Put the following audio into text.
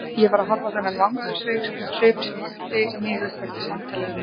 Ég var að horfa á þennan vangasvip sem vakti mig upp eftir samtalið við mömmu.